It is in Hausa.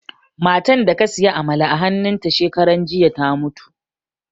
Matan da ka siya amala a hannun ta shekaran jiya ta mutu